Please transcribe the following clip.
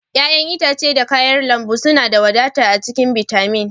ƴa'ƴan itace da kayan lambu suna da wadata a cikin bitamin.